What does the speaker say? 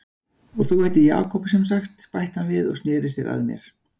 Og þú heitir Jakob semsagt, bætti hann við og sneri sér að mér.